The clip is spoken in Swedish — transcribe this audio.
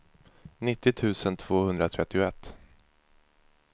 nittio tusen tvåhundratrettioett